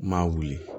M'a wuli